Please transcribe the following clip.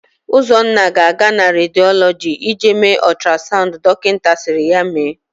Ụzọnna ga-aga na rediolọgị ịje mee ọtrasaụnd dokịta sịrị ya mee.